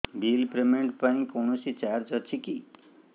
bill payment ପାଇଁ କୌଣସି charge ଅଛି କି